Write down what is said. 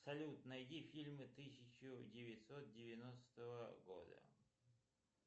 салют найди фильмы тысяча девятьсот девяностого года